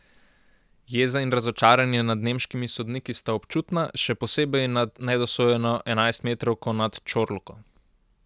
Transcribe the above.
Jeza in razočaranje nad nemškimi sodniki sta občutna, še posebej nad nedosojeno enajstmetrovko nad Ćorluko.